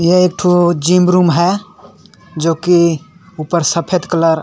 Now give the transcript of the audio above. ए एकठो gym room हे और ऊपर में सफेद कलर हे।